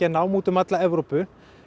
nám úti um alla Evrópu